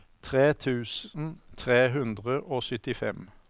tre tusen tre hundre og syttifem